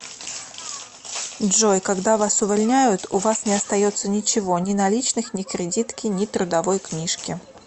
джой когда вас увольняют у вас не остается ничего ни наличных ни кредитки ни трудовой книжки